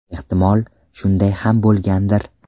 Ehtimol, shunday ham bo‘lgandir.